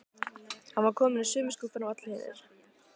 Hann var kominn í sömu skúffuna og allir hinir.